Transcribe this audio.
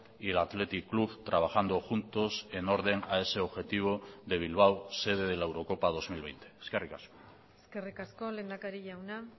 y el athletic club trabajando juntos en orden a ese objetivo de bilbao sede de la eurocopa dos mil veinte eskerrik asko eskerrik asko lehendakari jauna